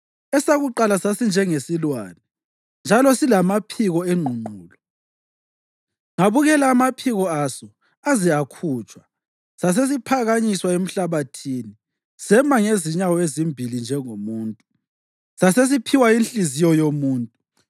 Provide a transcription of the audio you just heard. Esakuqala sasinjengesilwane, njalo silamaphiko engqungqulu. Ngabukela amaphiko aso aze akhutshwa, sasesiphakanyiswa emhlabathini sema ngezinyawo ezimbili njengomuntu, sasesiphiwa inhliziyo yomuntu.